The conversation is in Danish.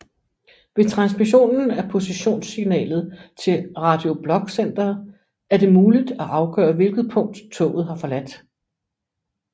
Ved transmissionen af positionssignalet til Radio Blok Centeret er det muligt at afgøre hvilket punkt toget har forladt